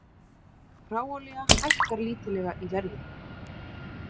Hráolía hækkar lítillega í verði